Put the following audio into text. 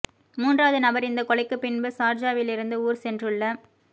மூன்றாவது நபர் இந்த கொலைக்கு பின்பு சார்ஜாவிலிருந்து ஊர் சென்றுள்ள